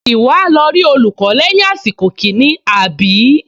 Ìwọ á lọ rí olùkọ́ lẹ́yìn àsìkò kìíní, àbí?